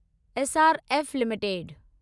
SRF limited